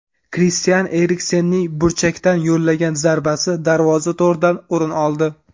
Kristian Eriksenning burchakdan yo‘llagan zarbasi darvoza to‘ridan o‘rin oldi.